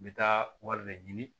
N bɛ taa wari de ɲini